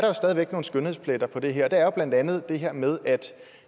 jo stadig væk nogle skønhedspletter på det her og det er blandt andet det her med at